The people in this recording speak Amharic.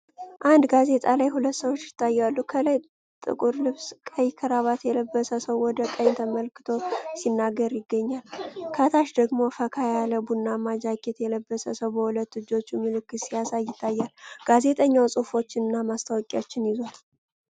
አንድ ጋዜጣ ላይ ሁለት ሰዎች ይታያሉ። ከላይ ጥቁር ልብስና ቀይ ክራባት የለበሰ ሰው ወደ ቀኝ ተመልክቶ ሲናገር ይገኛል። ከታች ደግሞ ፈካ ያለ ቡናማ ጃኬት የለበሰ ሰው በሁለት እጆቹ ምልክት ሲያሳይ ይታያል። ጋዜጣውም ጽሁፎችንና ማስታወቂያዎችን ይዟል።